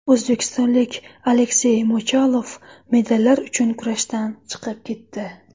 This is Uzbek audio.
O‘zbekistonlik Aleksey Mochalov medallar uchun kurashdan chiqib ketdi.